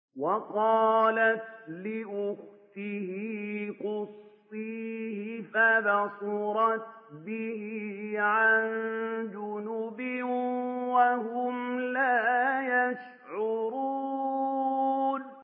وَقَالَتْ لِأُخْتِهِ قُصِّيهِ ۖ فَبَصُرَتْ بِهِ عَن جُنُبٍ وَهُمْ لَا يَشْعُرُونَ